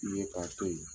Ye k'a to ye